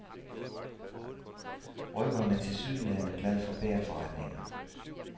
Røveren er tilsyneladende glad for bagerforretninger.